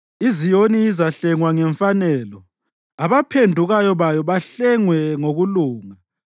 IZiyoni izahlengwa ngemfanelo, abaphendukayo bayo bahlengwe ngokulunga.